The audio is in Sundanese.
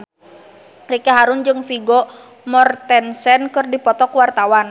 Ricky Harun jeung Vigo Mortensen keur dipoto ku wartawan